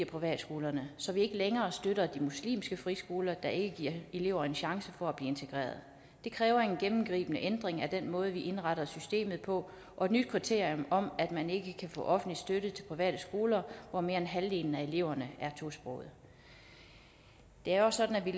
privatskolerne så vi ikke længere støtter de muslimske friskoler der ikke giver elever en chance for at blive integreret det kræver en gennemgribende ændring af den måde vi indretter systemet på og et nyt kriterium for at man ikke kan få offentlig støtte til private skoler hvor mere end halvdelen af eleverne er tosprogede det er også sådan at vi